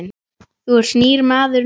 Þú ert nýr maður núna.